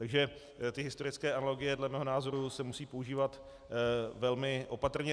Takže ty historické analogie dle mého názoru se musí používat velmi opatrně.